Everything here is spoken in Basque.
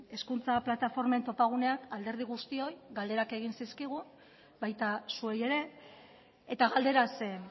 hezkuntza plataformen topagunean alderdi guztioi galderak egin zizkigun baita zuei ere eta galdera zen